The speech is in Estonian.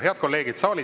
Head kolleegid!